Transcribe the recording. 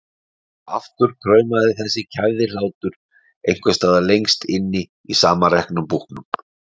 Og aftur kraumaði þessi kæfði hlátur einhvers staðar lengst inni í samanreknum búknum.